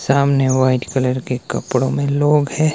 सामने white colour के कपड़ों में लोग हैं।